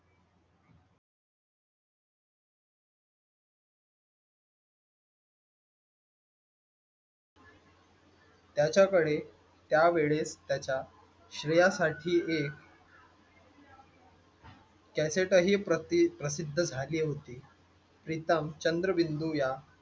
त्याच्याकडे त्या वेळेस त्याच्या श्रेयासाठी एक कॅसेट ही प्रसिद्ध झाली होती प्रीतम चंद्र बिंदु या